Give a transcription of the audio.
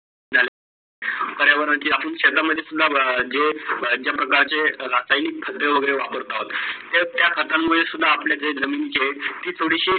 पर्यावरणाची आपण शेता मध्ये जे प्रकारचे रसाईल घडया वगैरे वापरतात, ते त्या खडे मुडे सुद्धा जे जमीचे ते थोडीशी